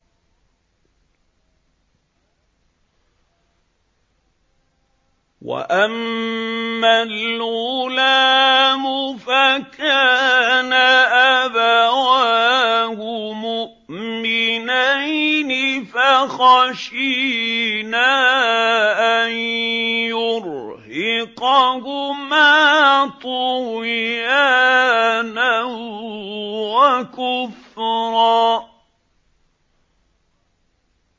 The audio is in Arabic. وَأَمَّا الْغُلَامُ فَكَانَ أَبَوَاهُ مُؤْمِنَيْنِ فَخَشِينَا أَن يُرْهِقَهُمَا طُغْيَانًا وَكُفْرًا